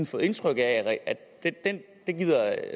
fået indtryk af at det gider